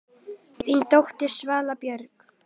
Þín dóttir, Svala Björk.